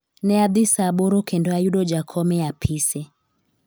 ne adhi saa aboro kendo ayudo jakom e apise